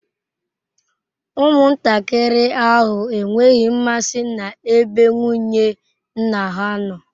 Ụmụntakịrị ahụ enweghị mmasị n'ebe nwunye nna ha nọ.